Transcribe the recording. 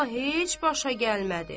Amma heç başa gəlmədi.